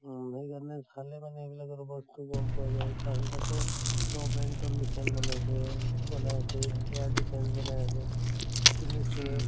উম সেইকাৰণে চালে মানে এইবিলাকৰ ওপৰত গম পোৱা যায় পাছত আকৌ short range ৰ missile বনাইছে বনাই আছে india defence বনাই আছে, ক্নিনিছে